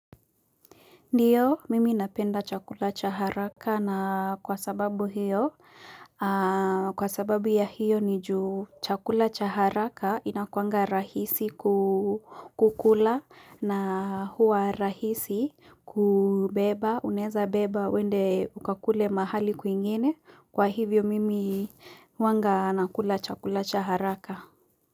Ndiyo mimi napenda chakula chabharaka na kwa sababu ya hiyo ni juu chakula cha haraka inakuanga rahisi kukula na huwa rahisi kubeba unaeza beba uende ukakule mahali kwingine kwa hivyo mimi huwanga nakula chakula cha haraka.